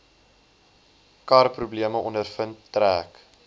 karprobleme ondervind trek